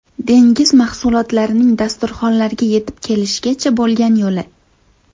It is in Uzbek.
Dengiz mahsulotlarining dasturxonlarga yetib kelishgacha bo‘lgan yo‘li .